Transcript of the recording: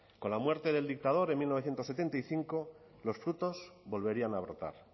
con la muerte del dictador en mil novecientos setenta y cinco los frutos volverían a brotar